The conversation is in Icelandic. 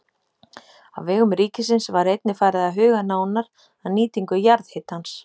Á vegum ríkisins var einnig farið að huga nánar að nýtingu jarðhitans.